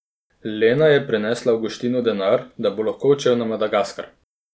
Lena je prinesla Avguštinu denar, da bo lahko odšel na Madagaskar.